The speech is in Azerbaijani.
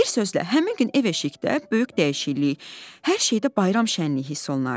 Bir sözlə, həmin gün ev-eşikdə böyük dəyişiklik, hər şeydə bayram şənliyi hiss olunardı.